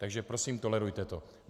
Takže prosím, tolerujte to.